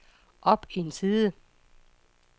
op en side